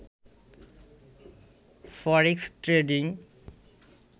forex trading